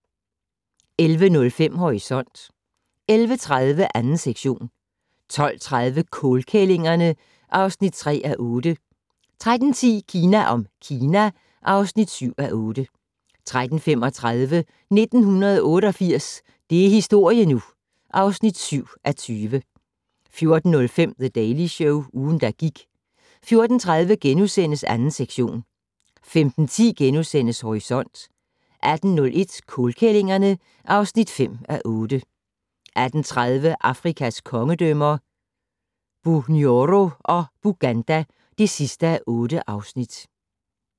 11:05: Horisont 11:30: 2. sektion 12:30: Kålkællingerne (3:8) 13:10: Kina om Kina (7:8) 13:35: 1988 - det er historie nu! (7:20) 14:05: The Daily Show - ugen, der gik 14:30: 2. sektion * 15:10: Horisont * 18:01: Kålkællingerne (5:8) 18:30: Afrikas kongedømmer - Bunyoro og Buganda (8:8)